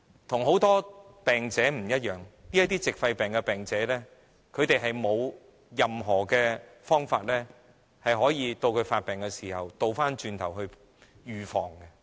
與很多病者不同，這些矽肺病的患者並沒有任何方法可以在發病時作預防。